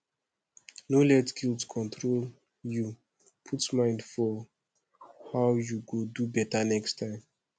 no let guilt control yu put mind for how yu go do beta next time